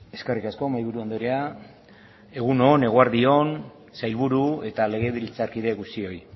eskerrik asko mahaiburu andrea egun on eguerdi on sailburu eta legebiltzarkide guztioi